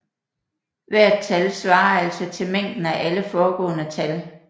Hvert tal svarer altså til mængden af alle foregående tal